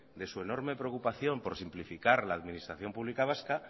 de su enorme preocupación por simplificar la administración pública vasca